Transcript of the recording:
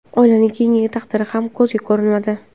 Oilaning keyingi taqdiri ham ko‘ziga ko‘rinmadi.